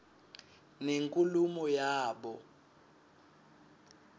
nenkulumo yabo